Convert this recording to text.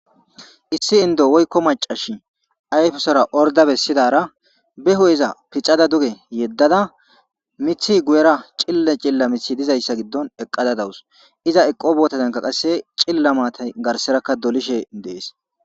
Issi indo woykko macashi ayfusora orda bessidara beho iza piccada duge yeddada mithi guyera cille cilla mithi dizayssa giddon eqqada dawus iza eqo bootadenka qasse cilla maatay garserakka dolishe dees.